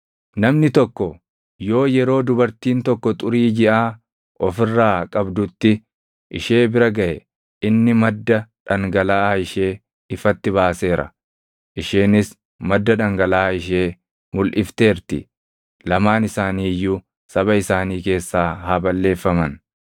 “ ‘Namni tokko yoo yeroo dubartiin tokko xurii jiʼaa of irraa qabdutti ishee bira gaʼe, inni madda dhangalaʼaa ishee ifatti baaseera; isheenis madda dhangalaʼa ishee mulʼifteerti. Lamaan isaanii iyyuu saba isaanii keessaa haa balleeffaman.